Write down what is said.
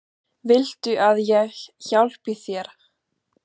Viltu að ég hjálpi þér?